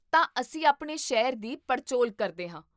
ਤਾਂ, ਅਸੀਂ ਆਪਣੇ ਸ਼ਹਿਰ ਦੀ ਪੜਚੋਲ ਕਰਦੇ ਹਾਂ?